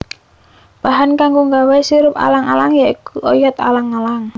Bahan kanggo nggawé sirup alang alang ya iku oyot alang alang